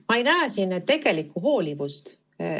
Ma ei näe siin tegelikku hoolivust.